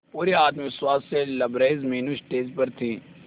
पूरे आत्मविश्वास से लबरेज मीनू स्टेज पर थी